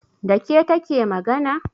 Da ke take magana?